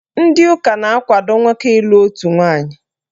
Ndị ụka na-akwado nwoke ịlụ otu nwaanyị.